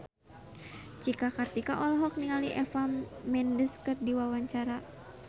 Cika Kartika olohok ningali Eva Mendes keur diwawancara